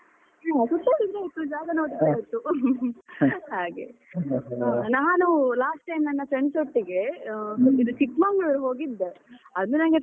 ನೀವು ಅದುಸಾ ಜಾಗ ನೋಡಿದ್ರೆ ಆಯ್ತು ಹಾಗೆ ನಾನು last time ನನ್ನ friends ಒಟ್ಟಿಗೆ ಅಹ್ Chikkamagaluru ಹೋಗಿದ್ದೆ ಅದು ನಂಗೆ.